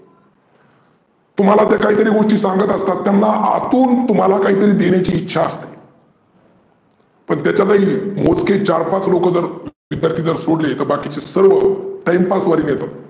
तुम्हाला ते काहीतरी गोष्टी सांगत आसतात. त्यांना आतून तुम्हाला काहीतरी देण्याची इच्छा असते. पण त्याच्यातही मोजके चार पाच लोक जर सोडले तर बाकिचे सर्व Timepass साठी येतात.